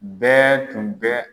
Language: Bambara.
Bɛɛ tun bɛ.